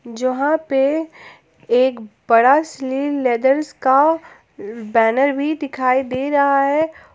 जहां पे एक बड़ा स्लिम लेदरस का बैनर भी दिखाई दे रहा है।